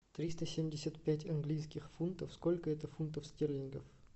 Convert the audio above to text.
триста семьдесят пять английских фунтов сколько это фунтов стерлингов